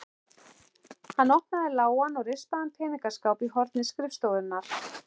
Hann opnaði lágan og rispaðan peningaskáp í horni skrifstofunnar.